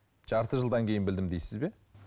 жарты жылдан кейін білдім дейсіз бе